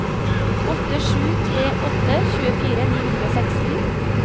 åtte sju tre åtte tjuefire ni hundre og seksten